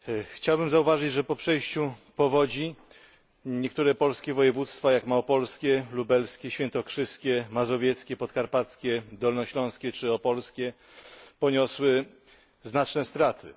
Chciałbym zauważyć, że po przejściu powodzi niektóre polskie województwa, jak małopolskie, lubelskie, świętokrzyskie, mazowieckie, podkarpackie, dolnośląskie czy opolskie, poniosły znaczne straty.